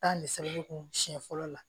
Taa misɛnbon siɲɛ fɔlɔ la